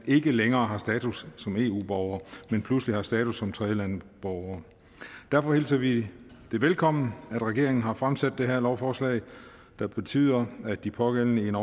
ikke længere har status som eu borgere men pludselig har status som tredjelandsborgere derfor hilser vi det velkommen at regeringen har fremsat det her lovforslag der betyder at de pågældende i en